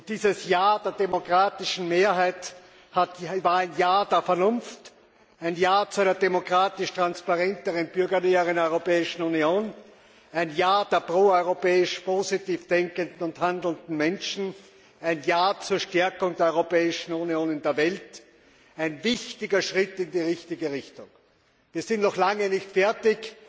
Dieses Ja der demokratischen Mehrheit war ein Ja der Vernunft, ein Ja zu einer demokratischeren, transparenteren und bürgernäheren Europäischen Union, ein Ja der proeuropäisch positiv denkenden und handelnden Menschen, ein Ja zur Stärkung der Europäischen Union in der Welt, ein wichtiger Schritt in die richtige Richtung. Wir sind noch lange nicht fertig,